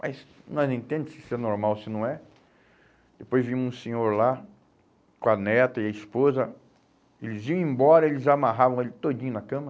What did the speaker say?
Mas nós entende se isso é normal ou se não é? Depois vi um senhor lá com a neta e a esposa, eles iam embora, eles amarravam ele todinho na cama.